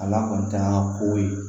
Ala kɔni t'an ka kow ye